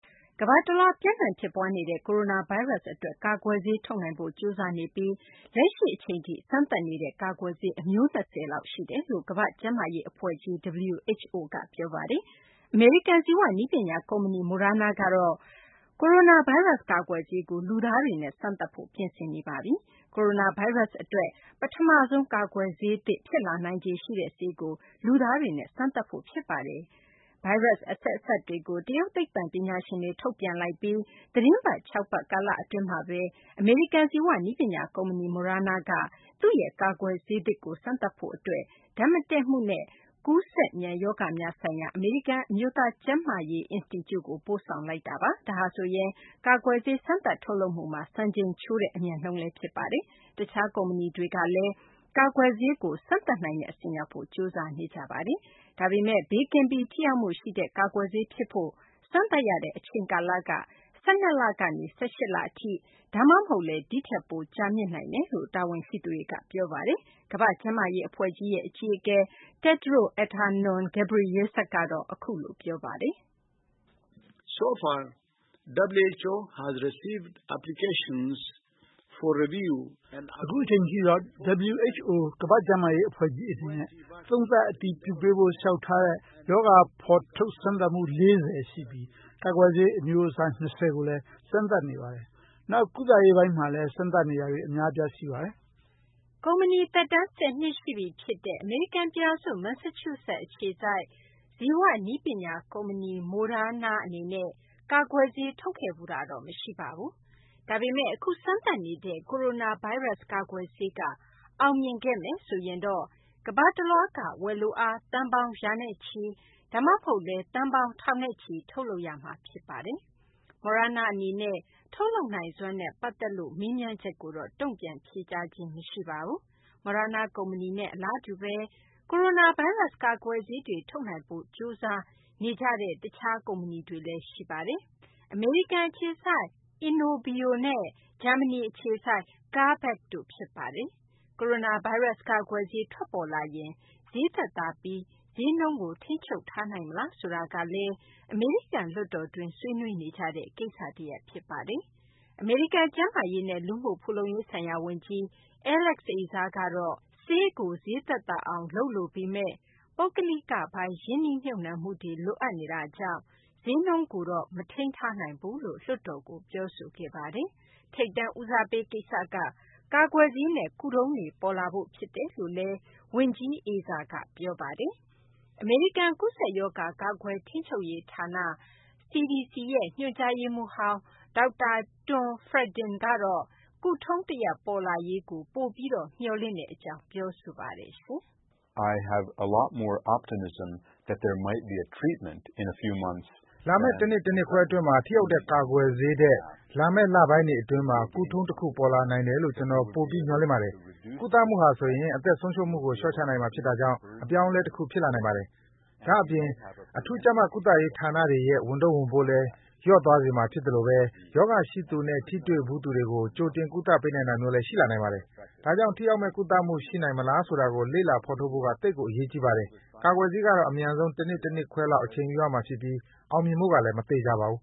ကမ္ဘာတလွှား ပျံ့နှံ့ ဖြစ်ပွားနေတဲ့ ကိုရိုနာဗိုင်းရပ်စ် အတွက် ကာကွယ်ဆေး ထုတ်နိုင်ဖို့ ကြိုးစားနေကြပြီး လက်ရှိ အချိန်ထိ စမ်းသပ်နေတဲ့ ကာကွယ်ဆေး အမျိုး ၂၀ လောက် ရှိတယ်လို့ ကမ္ဘာ့ကျန်းမာရေး အဖွဲ့ကြီး WHO က ပြောဆိုထားပါတယ်။ အမေရိကန် ဇီဝနည်းပညာ ကုမ္ပဏီ MOderna ကတော့ ကိုရိုနာဗိုင်းရပ်စ် ကာကွယ်ဆေးကို လူသားတွေနဲ့ စမ်းသပ်ဖို့ ပြင်ဆင်နေပါတယ်။ ဗွီအိုအေ သတင်းထောက် Steve Baragona ရဲ့ သတင်းဆောင်းပါးကို တင်ပြပေးချင်ပါတယ်။ ကိုရိုနာဗိုင်းရပ်စ် အတွက် ပထမဆုံး ကာကွယ်ဆေးသစ် ဖြစ်လာနိုင်ခြေရှိတဲ့ ဆေးကို လူသားတွေနဲ့ စမ်းသပ်ဖို့ ရှိနေပါပြီ။ ကိုရိုနာဗိုင်းရပ်စ် အဆက်အစပ်တွေကို တရုတ် သိပ္ပံပညာရှင်တွေ ထုတ်ပြန် လိုက်ပြီး သီတင်း ၆ ပတ် ကာလ အတွင်းမှာဘဲ အမေရိကန် ဇီဝနည်းပညာ ကုမ္ပဏီ Moderna က သူ့ရဲ့ ကာကွယ်ဆေးသစ်ကို စမ်းသပ်ဖို့ အတွက် ဓာတ်မတည့်မှုနဲ့ ကူးစက်မြန် ရောဂါများဆိုင်ရာ အမေရိကန် အမျိုးသား ကျန်းမာရေး အင်စတီကျူကို ပို့ဆောင်ထားပါပြီ။ ဒါဟာဆိုရင် ကာကွယ်ဆေး စမ်းသပ်ထုတ်လုပ်မှုမှာ စံချိန်ချိုးတဲ့ အမြန်နှုန်းလည်း ဖြစ်ပါတယ်။ တခြား ကုမ္ပဏီတွေ ကလည်း ကာကွယ်ဆေးကို စမ်းသပ်နိုင်တဲ့ အဆင့်ရောက်ဖို့ ကြိုးစားနေကြပါတယ်။ ဒါပေမယ့်လည်း ဘေးကင်းပြီး ထိရောက်မှုရှိတဲ့ ကာကွယ်ဆေး ဖြစ်ဖို့ စမ်းသပ်ရတဲ့ အချိန်က ၁၂ လကနေ ၁၈ လ အထိ၊ ဒါမှမဟုတ်လည်း ဒီထက် ကြာမြင့်နိုင်တယ်လို့ တာဝန်ရှိသူတွေက ပြောပါတယ်။ “အခုအချိန်ထိတော့ WHO ကမ္ဘာ့ကျန်းမာရေး အဖွဲ့ကြီး အနေနဲ့ သုံးသပ် အတည်ပြုပေးဖို့ လျှောက်ထားတဲ့ ရောဂါ ဖော်ထုတ် စမ်းသပ်မှု ၄၀ ရှိပြီး ကာကွယ်ဆေး အမျိုး ၂၀ ကိုလည်း စမ်းသပ်နေပါတယ်။ နောက် ကုသရေးပိုင်းမှာလည်း စမ်းသပ်နေတာတွေ အများအပြား ရှိပါတယ်။” ကုမ္ပဏီ သက်တမ်း ၁၀ နှစ်ရှိပြီ ဖြစ်တဲ့ အမေရိကန် ပြည်ထောင်စု မန်ဆာချူးဆက် အခြေစိုက် ဇီ၀ နည်းပညာ ကုမ္ပဏီ Moderna အနေနဲ့ ကာကွယ်ဆေး ထုတ်ခဲ့ဖူးတာတော့ မရှိပါဘူး။ ဒါပေမယ့် အခု စမ်းသပ်နေတဲ့ ကိုရိုနာဗိုင်းရပ်စ် ကာကွယ်ဆေးက အောင်မြင်ခဲ့မယ်ဆိုရင်တော့ ကမ္ဘာတလွှွားက ဝယ်လိုအား သန်းပေါင်း ရာနဲ့ချီ၊ ဒါမှမဟုတ်လည်း သန်းပေါင်း ထောင်နဲ့ချီ ထုတ်လုပ်ရမှာ ဖြစ်ပါတယ်။ Moderna အနေနဲ့ ထုတ်လုပ်နိုင်စွမ်း နဲ့ ပတ်သက်လို့တော့ မေးမြန်းချက်ကိုတော့ တုံ့ပြန်ဖြေကြားခြင်း မရှိပါဘူး။ Moderna ကုမ္ပဏီနဲ့ အလားတူဘဲ ကိုရိုနာ ဗိုင်းရပ်စ် ကာကွယ်ဆေးတွေ ထုတ်နိုင်ဖို့ ကြိုးစား နေကြပါတယ်။ အမေရိကန် အခြေစိုက် Inovio နဲ့ ဂျာမနီ အခြေစိုက် CureVac တို့ ဖြစ်ပါတယ်။ ကိုရိုနာဗိုင်းရပ်စ် ကာကွယ်ဆေး ထွက်ပေါ်လာရင် ဈေးသက်သာပြီး ဈေးနှုန်းကို ထိန်းချုပ်ထားနိုင် မလားဆိုတာကလည်း အမေရိကန် လွှတ်တော်တွင်း ဆွေးနွေးနေကြတဲ့ ကိစ္စတရပ် ဖြစ်ပါတယ်။ အမေရိကန် ကျန်းမာရေးနဲ့ လူမှုဖူလုံရေးဆိုင်ရာ ဝန်ကြီး Alex Azar ကတော့ ဆေးကို ဈေးသက်သာအောင် လုပ်လိုပေမယ့် ပုဂ္ဂလိကပိုင်း ရင်းနှီးမြှုပ်နှံမှုတွေ လိုအပ်နေတာကြောင့် ဈေးနှုန်းကိုတော့ မထိန်းနိုင်ဘူးလို့ လွှတ်တော်ကို ပြောဆိုခဲ့ပါတယ်။ ထိပ်တန်း ဦးစားပေး ကိစ္စက ကာကွယ်ဆေးနဲ့ ကုထုံးတွေ ပေါ်လာဖို့ ဖြစ်တယ်လို့လည်း ဝန်ကြီး Azar က ပြောဆိုခဲ့ပါတယ်။ အမေရိကန် ကူးစက်ရောဂါ ကာကွယ် ထိန်းချုပ်ရေးဌာန US CDC ရဲ့ ညွှန်ကြားရေးမှူးဟောင်း ဒေါက်တာ Tom Frieden ကတော့ ကုထုံးတရပ် ပေါ်လာရေးကို ပိုပြီး မျှော်လင့်ကြောင်း ပြောပါတယ်။ “လာမယ့် တနှစ်၊ တနှစ်ခွဲ အတွင်းမှာ ထိရောက်တဲ့ ကာကွယ်ဆေးထက် လာမယ့် လပိုင်းတွေ အတွင်းမှာ ကုထုံး တခု ပေါ်လာနိုင်တယ်လို့ ကျနော် ပိုပြီး မျှော်လင့်ပါတယ်။ ကုသမှုဟာဆိုရင် အသက်ဆုံးရှုံးမှုကို လျှော့ချနိုင်မှာ ဖြစ်တာကြောင့် အပြောင်းအလဲ တခုဖြစ်လာ နိုင်ပါတယ်။ ဒါ့အပြင် အထူးကြပ်မတ် ကုသရေး ဌာနတွေရဲ့ ဝန်ထုပ်ဝန်ပိုးလည်း လျော့သွားစေမှာ ဖြစ်သလိုဘဲ ရောဂါရှိသူနဲ့ ထိတွေ့ဖူးသူတွေကို ကြိုတင် ကုသပေးနိုင်တာမျိုးလည်း ရှိလာနိုင်ပါတယ်။ ဒါကြောင့် ထိရောက်မယ့် ကုသမှု ရှိနိုင်ငမလားဆိုတာကို လေ့လာ ဖော်ထုတ်ဖို့က သိပ်ကို အရေးကြီး ပါတယ်။ ကာကွယ်ဆေးကတော့ အမြန်ဆုံး တနှစ်၊ တနှစ်ခွဲလောက် အချိန်ယူရမှာ ဖြစ်ပြီး အောင်မြင်ဖို့ကလည်း မသေချာပါဘူး